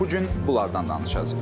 Bu gün bunlardan danışacağıq.